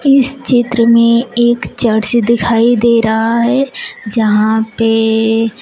इस चित्र में एक चर्च दिखाई दे रहा है जहां पे--